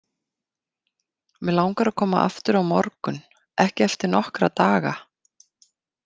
Mig langar að koma aftur á morgun, ekki eftir nokkra daga.